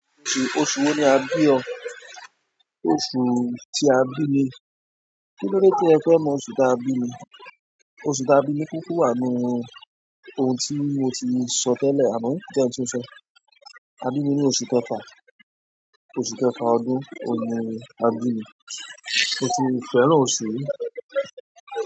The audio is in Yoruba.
Oṣù, oṣù wo ni a bí ọ? Oṣù tí a bí mi. Kinlode ti ẹ fẹ mọ oṣù ti a bi mi oṣù ta bí mi kúkú wa n nu ohun tí mo ti sọ tẹ́lẹ̀, àmọ́ jẹ n tun sọ. A bí mi ní oṣù kẹfà. Oṣù kẹfà ọdún oun ni a bí mi. Mo si fẹ́ràn oṣù yìí.